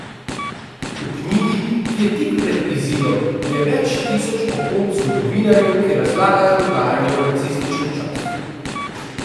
V knjigi, ki je tik pred izidom, je več tisoč opomb zgodovinarjev, ki razlagajo dogajanje v nacističnem času.